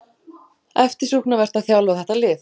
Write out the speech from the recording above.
Eftirsóknarvert að þjálfa þetta lið